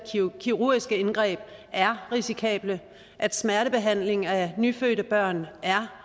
kirurgiske indgreb er risikable og at smertebehandling af nyfødte børn er